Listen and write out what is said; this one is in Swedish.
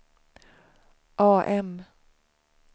AM